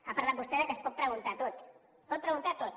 ha parlat vostè que es pot preguntar tot que es pot preguntar tot